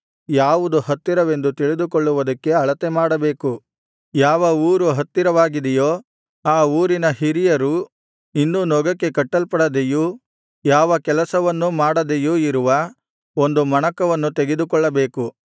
ಯಾವ ಊರು ಹತ್ತಿರವಾಗಿದೆಯೋ ಆ ಊರಿನ ಹಿರಿಯರು ಇನ್ನೂ ನೊಗಕ್ಕೆ ಕಟ್ಟಲ್ಪಡದೆಯೂ ಯಾವ ಕೆಲಸವನ್ನೂ ಮಾಡದೆಯೂ ಇರುವ ಒಂದು ಮಣಕವನ್ನು ತೆಗೆದುಕೊಳ್ಳಬೇಕು